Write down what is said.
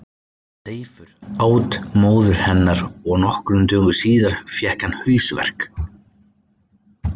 seifur át móður hennar og nokkrum dögum síðar fékk hann hausverk